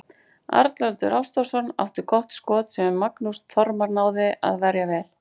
Arnljótur Ástvaldsson átti gott skot sem Magnús Þormar náði að verja vel.